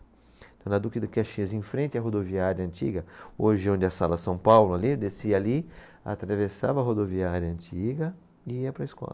Então na Duque de Caxias, em frente à rodoviária antiga, hoje onde é a Sala São Paulo, ali, descia ali, atravessava a rodoviária antiga e ia para a escola.